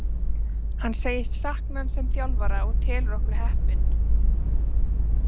Hann segist sakna hans sem þjálfara og telur okkur heppin.